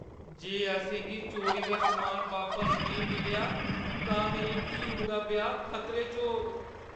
जे असें गी चोरी दा समान बापस नेईं मिलेआ, तां मेरी धीऊ दा ब्याह् खतरे च होग।